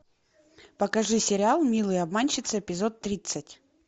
покажи сериал милые обманщицы эпизод тридцать